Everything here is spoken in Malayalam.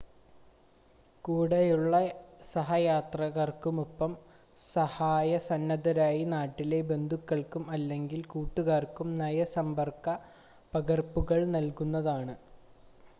കൂടെയുള്ള സഹയാത്രികർക്കും ഒപ്പം സഹായ സന്നദ്ധരായ നാട്ടിലെ ബന്ധുക്കൾക്കും അല്ലെങ്കിൽ കൂട്ടുകാർക്കും നയ/സമ്പർക്ക പകർപ്പുകൾ നൽകുന്നതാണ്